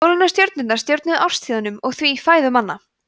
sólin og stjörnurnar stjórnuðu árstíðunum og því fæðu manna